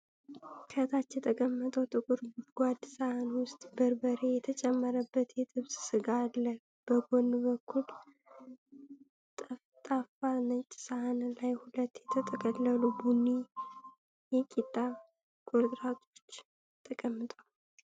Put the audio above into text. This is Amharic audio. ከታች የተቀመጠ ጥቁር ጎድጓዳ ሳህን ውስጥ በርበሬ የተጨመረበት የጥብስ ስጋ አለ። በጎን በኩል ጠፍጣፋ ነጭ ሳህን ላይ ሁለት የተጠቀለሉ ቡኒ የቂጣ ቁርጥራጮች ተቀምጠዋል።